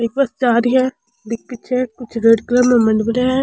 एक बस जा रही है --